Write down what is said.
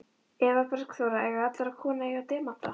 Eva Bergþóra: Eiga allar konur að eiga demanta?